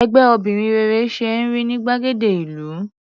Ẹgbẹ́ obìnrin rere ṣe é rí ní gbàgede ìlú.